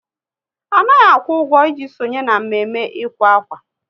Anaghị akwụ ụgwọ, ị ji sonye na mme mme ịkwa akwa